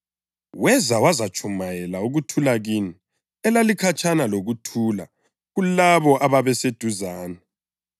Weza wazatshumayela ukuthula kini elalikhatshana lokuthula kulabo ababeseduzane.